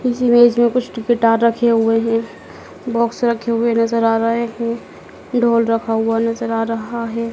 इस इमेज में कुछ गिटार रखे हुए हैं बॉक्स रखे हुए नज़र आ रहे हैं ढोल रखा हुआ नज़र आ रहा है।